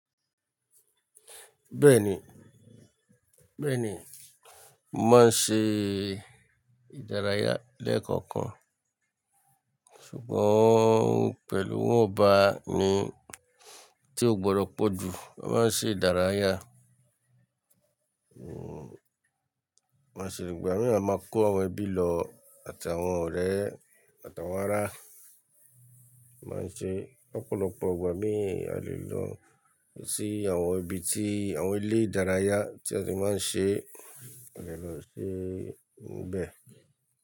Bẹ́ẹ̀ni, bẹ́ẹ̀ni. Mo máa ń ṣe ìdárayá lẹ́ẹ̀kọ̀kan, ṣùgbọ́n pẹ̀lú wọnba ni tí ó gbọdọ̀ pọ̀ jù. A máa ń ṣe ìdárayá,, máa ṣe ìgbà mí ì máa kó àwọn ẹbí lọ àti àwọn ọ̀rẹ́ àti àwọn ará. Ma ṣe ọ̀pọ̀lọpọ̀ ìgbà mí ì á lè lọ sí àwọn ibi tí àwọn ilé ìdárayá tí a ti máa ń ṣe, a lè lọ sí bẹ́ẹ̀